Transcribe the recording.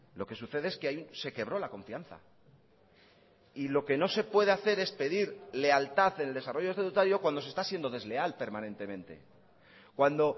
lo que sucede es que ahí se quebró la confianza y lo que no se puede hacer es pedir lealtad en el desarrollo estatutario cuando se está siendo desleal permanentemente cuando